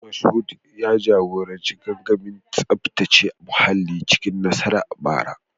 Mashood ya jagoranci gangamin tsaftace muhalli cikin nasara a bara